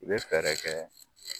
I be fɛrɛ kɛ